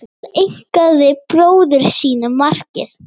Tileinkaði bróður sínum markið